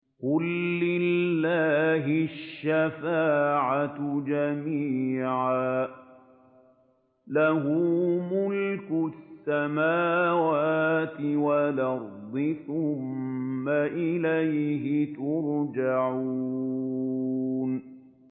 قُل لِّلَّهِ الشَّفَاعَةُ جَمِيعًا ۖ لَّهُ مُلْكُ السَّمَاوَاتِ وَالْأَرْضِ ۖ ثُمَّ إِلَيْهِ تُرْجَعُونَ